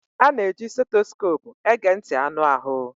A na-eji stethoscopu ege ntị anụ ahụ